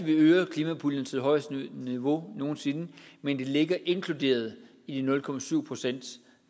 vi øger klimapuljen til det højeste niveau nogen sinde men det ligger inkluderet i de nul procent